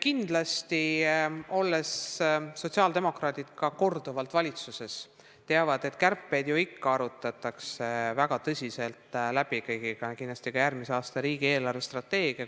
Kindlasti teavad ka sotsiaaldemokraadid, olles ise korduvalt valitsuses olnud, et kärped arutatakse väga tõsiselt läbi kõigiga ja et kindlasti arvestatakse ka järgmise aasta riigi eelarvestrateegiat.